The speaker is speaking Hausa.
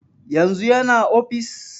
Yanzu yana ofis?